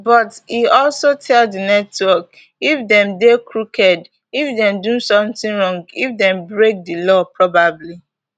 but e also tell di network if dem dey crooked if dem do something wrong if dem break di law probably